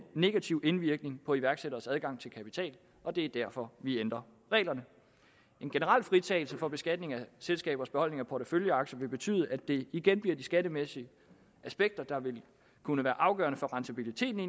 negativ indvirkning på iværksætteres adgang til kapital og det er derfor vi ændrer reglerne en generel fritagelse for beskatning af selskabers beholdning af porteføljeaktier vil betyde at det igen bliver de skattemæssige aspekter der vil kunne være afgørende for rentabiliteten i